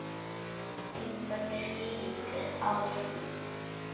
Einföld skýring er á því.